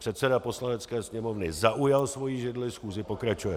Předseda Poslanecké sněmovny zaujal svoji židli, schůze pokračuje.